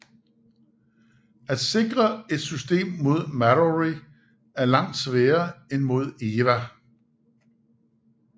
At sikre et system mod Mallory er langt sværere end mod Eva